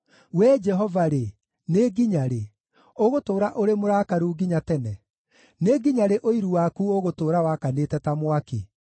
Wee Jehova-rĩ, nĩ nginya rĩ? Ũgũtũũra ũrĩ mũrakaru nginya tene? Nĩ nginya rĩ ũiru waku ũgũtũũra wakanĩte ta mwaki?